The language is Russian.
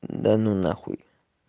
да ну нахуй